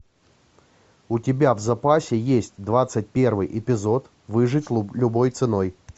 у тебя в запасе есть двадцать первый эпизод выжить любой ценой